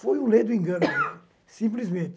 Foi uma lei do engano, simplesmente.